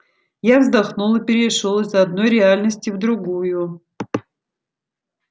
я вздохнул и перешёл из одной реальности в другую